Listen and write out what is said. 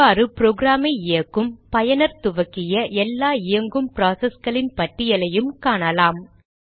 இவ்வாறு ப்ரோக்ராமை இயக்கும் பயனர் துவக்கிய எல்லா இயங்கும் ப்ராசஸ்களின் பட்டியலையும் காணலாம்